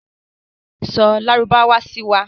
Sọ lárúbáwá sí wa.